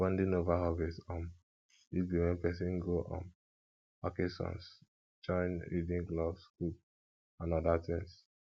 bonding over hobbies um fit be when person go um vacations join reading clubs cook and oda things